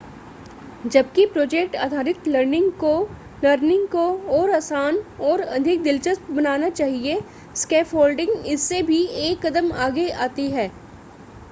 जबकि प्रोजेक्ट आधारित लर्निंग को लर्निंग को और आसान और अधिक दिलचस्प बनाना चाहिए स्कैफोल्डिंग इससे भी एक कदम आगे जाती है